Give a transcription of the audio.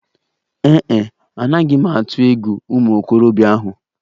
Ee e, anaghị m atụ egwu ụmụ okorobịa ahụ.